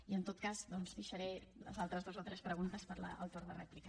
i en tot cas doncs deixaré les altres dues o tres preguntes per al torn de rèplica